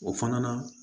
O fana